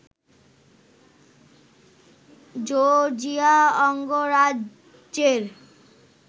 Georgia অঙ্গরাজ্যের